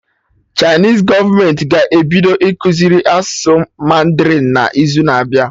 Chinese gọọmenti ga-ebido ịkụziri asụsụ mandarin n'izu na abịa